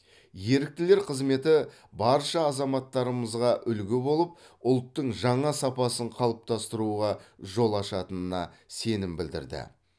еріктілер қызметі барша азаматтарымызға үлгі болып ұлттың жаңа сапасын қалыптастыруға жол ашатынына сенім білдірді